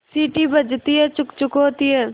सीटी बजती है छुक् छुक् होती है